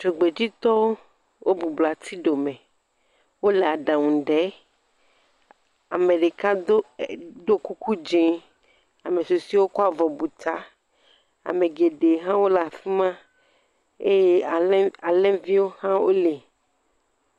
Dzogbeditɔwo wo gbublɔ ati ɖome wo le aɖaŋu dem ame ɖeka ɖo kuku dzi ame susɔewo hã kɔ avɔ bu ta. Ame geɖe hã wo le afi ma eye alẽviwo hã wo li.